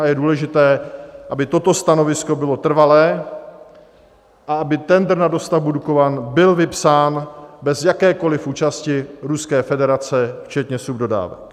A je důležité, aby toto stanovisko bylo trvalé a aby tendr na dostavbu Dukovan byl vypsán bez jakékoli účasti Ruské federace včetně subdodávek.